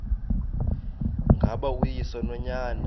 ngaba uyise nonyana